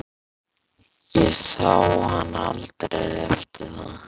Ég sá hann aldrei eftir það.